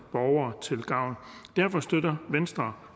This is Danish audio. borgere til gavn derfor støtter venstre